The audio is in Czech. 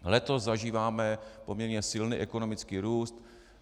Letos zažíváme poměrně silný ekonomický růst.